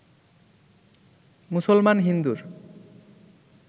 মুসলমান হিন্দুর